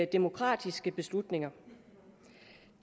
demokratiske beslutninger